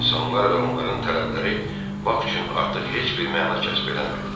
İnsanlar və onların tələbləri Bak üçün artıq heç bir məna kəsb eləmirdi.